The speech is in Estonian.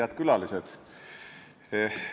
Head külalised!